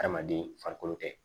Adamaden farikolo tɛ